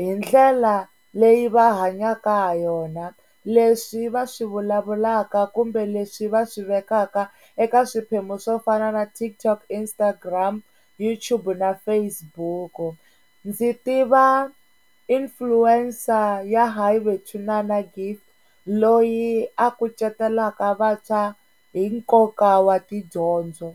hi ndlela leyi va hanyaka ha yona, leswi va swi vulavulaka kumbe leswi va swi vekaka eka swiphemu swo fana na TikTok, Instagram, YouTube na Facebook. Ndzi tiva inflencer ya hayi bethunana Gift loyi a kucetelaka vantshwa hi nkoka wa tidyondzo.